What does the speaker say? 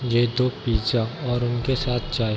ये दो पिज़्ज़ा और उनके साथ चाय --